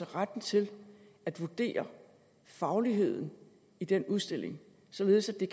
retten til at vurdere fagligheden i den udstilling således at